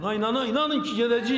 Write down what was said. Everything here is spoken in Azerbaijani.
Buna inanın ki, gedəcəyik.